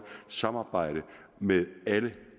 samarbejde med alle